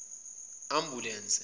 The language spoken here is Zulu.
ambulense